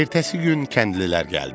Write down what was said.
Ertəsi gün kəndlilər gəldi.